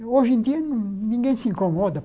Hoje em dia, ninguém se incomoda.